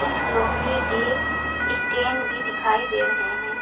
कुछ लोहे के स्टैंड भी दिखाई दे रहे हैं।